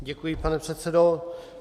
Děkuji, pane předsedo.